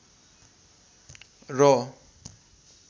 र